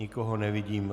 Nikoho nevidím.